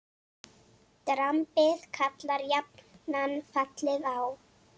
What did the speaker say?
Drambið kallar jafnan fallið á.